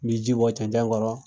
N be ji bɔ cɛncɛn kɔrɔ